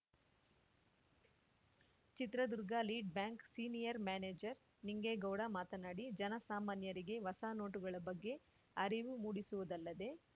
Chitradurga lead bank senior manager Ningegowda ಮಾತನಾಡಿ ಜನಸಾಮಾನ್ಯರಿಗೆ ಹೊಸ ನೋಟುಗಳ ಬಗ್ಗೆ ಅರಿವು ಮೂಡಿಸುವುದಲ್ಲದೆ